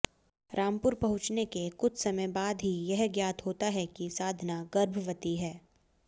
रामपुर पहुंचने के कुछ समय बाद ही यह ज्ञात होता है कि साधना गर्भवती है